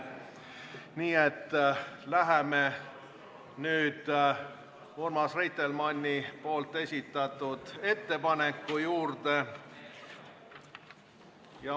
Nii et läheme nüüd Urmas Reitelmanni esitatud ettepaneku juurde.